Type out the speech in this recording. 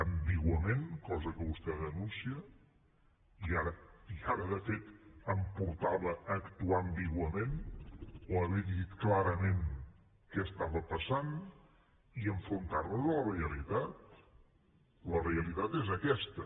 ambiguament cosa que vostè denuncia i ara de fet em portava a actuar ambiguament o haver dit clarament què passava i enfrontar nos a la realitat la realitat és aquesta